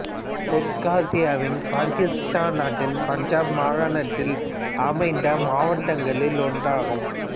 தெற்காசியாவின் பாகிஸ்தான் நாட்டின் பஞ்சாப் மாகாணத்தில் அமைந்த மாவட்டங்களில் ஒன்றாகும்